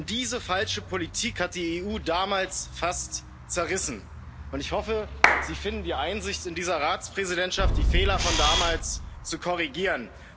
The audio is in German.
Diese falsche Politik hat die EU damals fast zerrissen. Ich hoffe, Sie finden die Einsicht in dieser Ratspräsidentschaft, die Fehler von damals zu korrigieren.